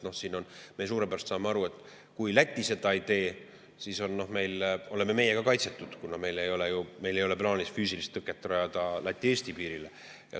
Me saame suurepäraselt aru, et kui Läti seda ei tee, siis oleme meie ka kaitsetud, kuna meil ei ole ju plaanis füüsilist tõket rajada Läti-Eesti piirile.